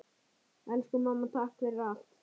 Elsku mamma, takk fyrir allt.